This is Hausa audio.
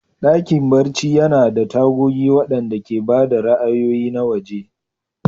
Dakin barci yana da tagogi waɗanda ke ba da ra'ayoyi na waje.